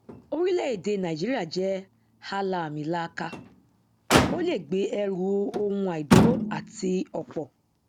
orílẹèdè nàìjíríà jẹ àlàamìlaaka o lè gbé ẹrù ohun àìdúró àti ọpọ